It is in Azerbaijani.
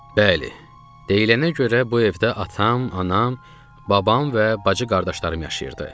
Bəli, deyilənə görə bu evdə atam, anam, babam və bacı-qardaşlarım yaşayırdı.